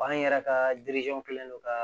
B'an yɛrɛ ka kɛlen don ka